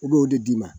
I b'o de d'i ma